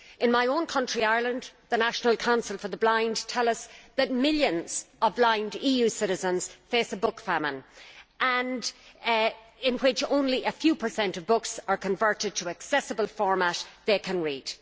In my own country Ireland the National Council for the Blind tells us that millions of blind EU citizens face a book famine, in which only a low percentage of books are converted to an accessible format that they can read.